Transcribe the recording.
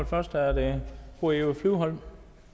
først er det fru eva flyvholm